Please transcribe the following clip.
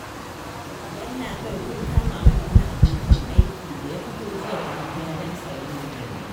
Yallaɓai kun kama mana wani abokin aiki da ya fito jiya da daddare don sayen magani